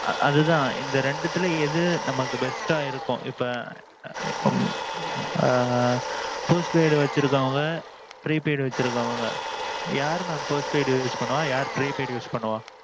அது தான் இந்த ரெண்டத்துல எது நமக்கு best அ இருக்கும் இப்போ இப்போ ஆ ஆ. postpaid வச்சிருக்கிறவங்க prepaid வச்சிருக்குறவங்க யாரு mam post paid use பண்ணுவா, யாரு prepaid use பண்ணுவா?